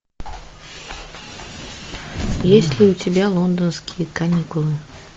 есть ли у тебя лондонские каникулы